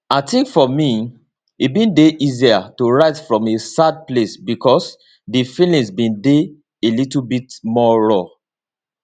i think for me e bin dey easier to write from a sad place because di feelings bin dey a little bit more raw